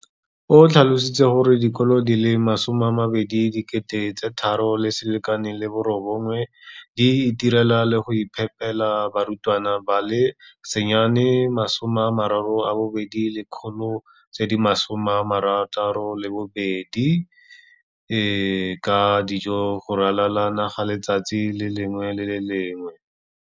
O tlhalositse gore dikolo di le 20 619 di itirela le go iphepela barutwana ba le 9 032 622 ka dijo go ralala naga letsatsi le lengwe le le lengwe.